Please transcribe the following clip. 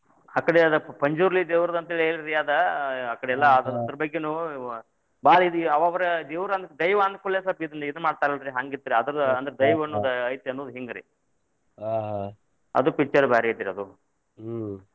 ಅಕಡೆ ಅದ್ ಪಂಜುರ್ಲಿ ದೇವರದಂತ್ ಅಂತ ಹೇಳ್ರಿ ಅದ್ ಅಕಡೆ ಎಲ್ಲಾ ಅದ್ರ ಬಗ್ಗೆನು ನಾ ಬಾಳ್ ಇದ್ ಅವರ್ ಅಂದ್ರ ದೇವರ್ ದೈವಾ ಅಂದಕೂಡಲೆ ಸ್ವಲ್ಪ ಇದ್ ಇದನ್ನ ಮಾಡ್ತಾರ ಅಲ್ರೀ ಹಂಗ್ ಇತ್ರಿ ಅಂದ್ರ ದೈವ ಅನ್ನೊದ ಐತಿ ಅನ್ನೋದ್ ಹಿಂಗ್ರಿ ಅದು picture ಭಾರಿ ಐತ್ರಿ ಅದು.